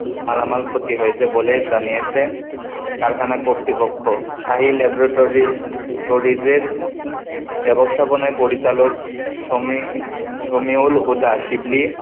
মালামাল ক্ষতি হয়েছে বলে জানিয়েছে, কারখানা কর্তৃপক্ষ, Shahi Laboratory~tories এর ব্যবস্থাপনা পরিচালক সমীর, সমীউল হুদাস, শিবলি,